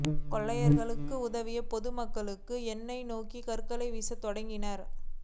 கொள்ளையர்களுக்கு உதவியாக பொதுமக்களும் எங்களை நோக்கி கற்களை வீசத் தொடங்கினர்